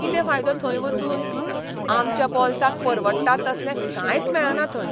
कितें फायदो थंय वचून? आमच्या बोल्साक परवडटा तसलें कांयच मेळना थंय.